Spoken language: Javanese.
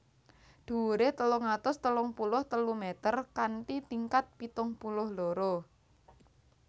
Dhuwuré telung atus telung puluh telu meter kanthi tingkat pitung puluh loro